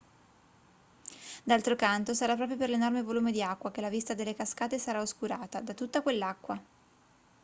d'altro canto sarà proprio per l'enorme volume di acqua che la vista delle cascate sarà oscurata da tutta quell'acqua